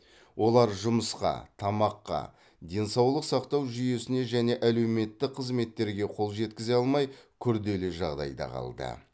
олар жұмысқа тамаққа денсаулық сақтау жүйесіне және әлеуметтік қызметтерге қол жеткізе алмай күрделі жағдайда қалды